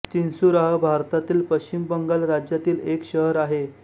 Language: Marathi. चिन्सुराह भारतातील पश्चिम बंगाल राज्यातील एक शहर आहे